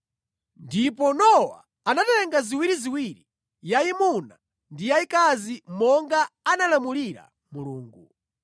Ndipo Nowa anatenga ziwiriziwiri, yayimuna ndi yayikazi monga anamulamulira Mulungu.